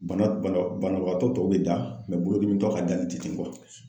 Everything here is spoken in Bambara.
Bana banabaatɔ tɔw bi da bolodimitɔ ka dali tɛ ten